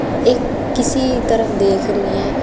एक किसी तरफ देख रही है।